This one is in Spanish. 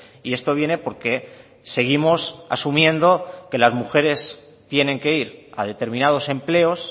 y esto viene porque seguimos asumiendo que las mujeres tienen que ir a determinados empleos